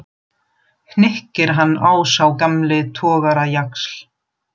hnykkir hann á sá gamli togarajaxl.